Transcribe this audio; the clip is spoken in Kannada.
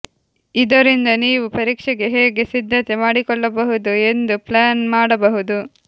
ಇದರಿಂದ ನೀವು ಪರೀಕ್ಷೆಗೆ ಹೇಗೆ ಸಿದ್ಧತೆ ಮಾಡಿಕೊಳ್ಳಬಹುದು ಎಂದು ಪ್ಲ್ಯಾನ್ ಮಾಡಬಹುದು